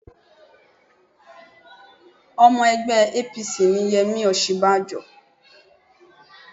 Ọmọ ẹgbẹ́ APC ni Yẹmí Osinbanjo